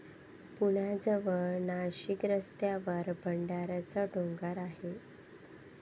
पुण्याजवळच नाशिक रस्त्यावर भंडाऱ्याचा डोंगर आहे.